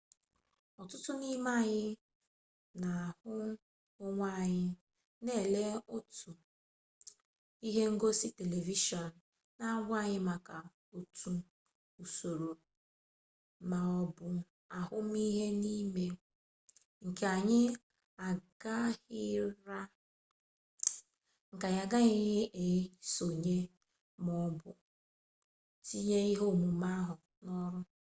ọtụtụ n'ime anyị na-ahụ onwe anyị na-ele otu ihe ngosi televishọn na-agwa anyị maka otu usoro ma ọ bụ ahụmihe n'ime nke anyị agaghịrị esonye ma ọ bụ tinye ihe ọmụma ahụ n'ọrụ